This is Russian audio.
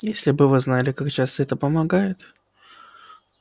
если бы вы знали как часто это помогает